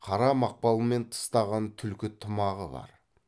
қара мақпалмен тыстаған түлкі тымағы бар